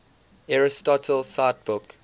aristotle cite book